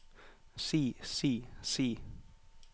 si si si